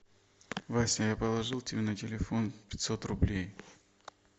вася я положил тебе на телефон пятьсот рублей